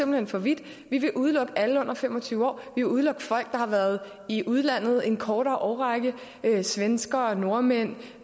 hen for vidt vi vil udelukke alle under fem og tyve år vi vil udelukke folk har været i udlandet en kortere årrække svenskere nordmænd